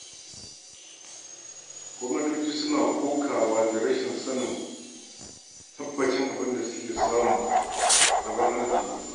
Gwamnatoci suna kokawa da rashin tabbacin abin da suke samu a rabon arzikin ƙasa.